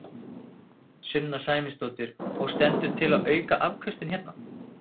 Sunna Sæmundsdóttir: Og stendur til að auka afköstin hérna?